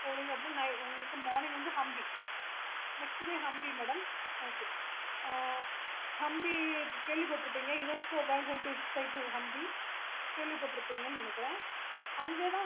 இப்போ morning உங்களுக்கு வந்து humpinext day hampi madamokay ஆஹ் hampi கேள்வி பற்றுப்பீங்க UNESCO world heritage site hampi கேள்வி பற்றுப்பீங்கன்னு நினைக்குறான் அங்க தான்